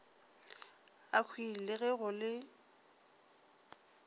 akhwi le ge go le